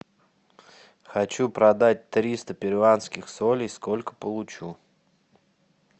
хочу продать триста перуанских солей сколько получу